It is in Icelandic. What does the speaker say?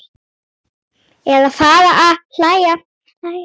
Eða fara að hlæja.